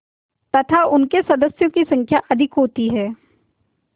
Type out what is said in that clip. तथा उनके सदस्यों की संख्या अधिक होती है